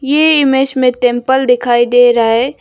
ये इमेज में टेंपल दिखाई दे रहा है।